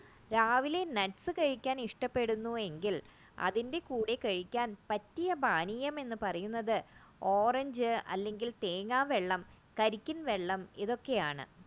രാവിലെ nuts ഇഷ്ടപ്പെടുന്നുവെങ്കിൽ അതിന്റെ കൂടെ പറ്റിയ പാനീയം എന്ന് പറയുന്നത് ഓറഞ്ച് അല്ലെങ്കിൽ തേങ്ങാവെള്ളം കരിക്കിൻ വെള്ളം ഇതൊക്കെയാണ്